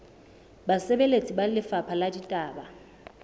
basebeletsi ba lefapha la ditaba